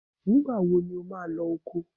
Nígbà wo ni ò máa lọ oko?